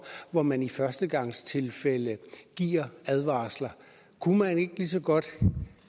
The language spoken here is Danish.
hvor man i førstegangstilfælde giver advarsler kunne man ikke lige så godt